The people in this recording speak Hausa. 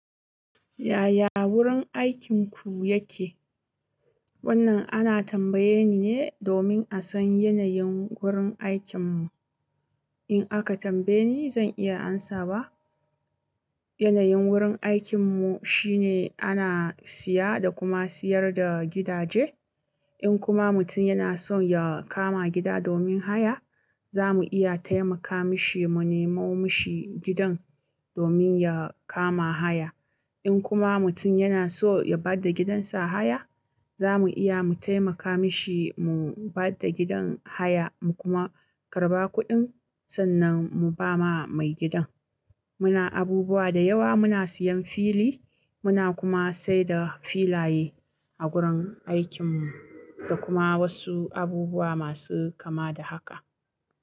Yaya wurin aikinku yake? Wannan ana tambaye ni ne domin a san yanayin wurin aikin mu. In aka tambaye ni zan iya amsawa. Yanayin wurin aikin mu shine ana siya da kuma siyar da gidaje. In kuma mutum yana son ya kama gida domin haya, za mu iya taimaka mishi mu nemo mishi gidan domin ya kama haya. In kuma mutum yana so ya bada gidansa haya, za mu iya mu taimaka mishi mu bada gidan haya mu kuma karba kuɗin sannan mu ba ma mai gidan. Muna abubuwa da yawa muna siyan fili, muna kuma saida filaye a gurin aikin mu da kuma wasu abubuwa masu kama da haka.